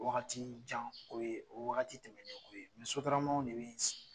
Waagati jan ko ye, o ye waagati tɛmɛn ne ko ye, Sotaramaw de bɛ yen